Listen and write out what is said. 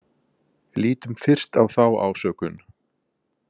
Lítum fyrst á þá ásökun.